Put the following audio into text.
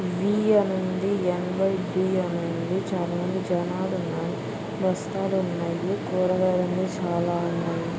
వి అని ఉంది. యవైబి అని ఉంది. చాలా మంది జనాలు ఉన్నారు. బస్తాలున్నాయి. కూరగాయలు అన్ని చాలా ఉన్నాయి.